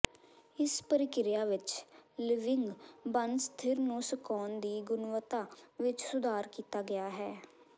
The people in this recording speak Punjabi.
ਇਸ ਪ੍ਰਕਿਰਿਆ ਵਿਚ ਿਲਵਿੰਗ ਬਣ ਸਥਿਰ ਨੂੰ ਸੁਕਾਉਣ ਦੀ ਗੁਣਵੱਤਾ ਵਿੱਚ ਸੁਧਾਰ ਕੀਤਾ ਗਿਆ ਹੈ